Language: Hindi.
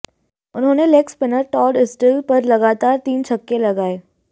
उन्होंने लेग स्पिनर टाड एस्टल पर लगातार तीन छक्के लगाये